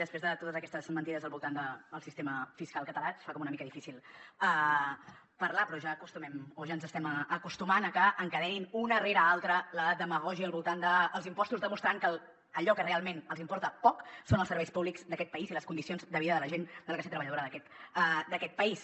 després de totes aquestes mentides al voltant del sistema fiscal català es fa com una mica difícil parlar però ja ens estem acostumant a que encadenin una rere l’altra la demagògia al voltant dels impostos demostrant que allò que realment els importa poc són els serveis públics d’aquest país i les condicions de vida de la gent de la classe treballadora d’aquest país